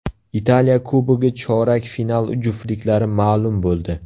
Italiya Kubogi chorak final juftliklari ma’lum bo‘ldi.